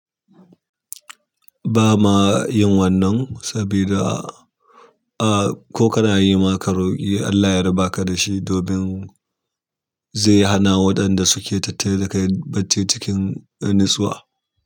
Ba ma yin wannan sabida, ah ko kana yi ma ka roƙi Allah ya raba ka da shi domin zai hana waɗanda suke tattare da kai bacci cikin nitsuwa.